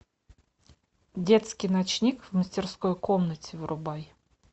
детский ночник в мастерской комнате вырубай